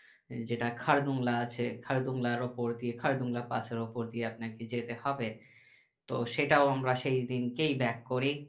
যেটা খারদুং লা আছে খারদুং লার ওপর দিয়ে খারদুং লা পাশের ওপর দিয়ে আপনাকে যেতে হবে তো সেটাও আমরা সেই দিনকেই আমরা back